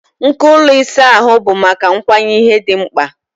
Nko ụlọ ịsa ahụ bụ maka ịkwanye ihe dị mkpa.